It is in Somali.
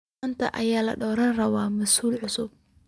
Manta aya ladoranirawa massul cusub.